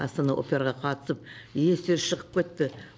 астана операға қатысып естері шығып кетті